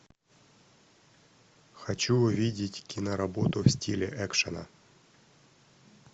хочу увидеть киноработу в стиле экшена